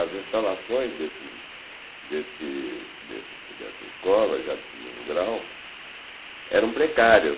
as instalações desses desse desse dessa escola, já de segundo grau, eram precárias.